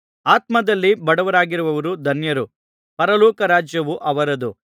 ಆತ್ಮದಲ್ಲಿ ಬಡವರಾಗಿರುವವರು ಧನ್ಯರು ಪರಲೋಕ ರಾಜ್ಯವು ಅವರದು